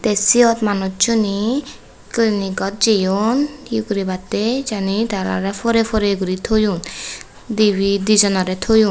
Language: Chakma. tey siyot manucchune clinic ot jeyon ye guribatte jani tarare porey pore guri toyon dibey dijonore toyon.